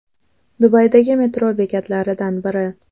Dubaydagi metro bekatlaridan biri.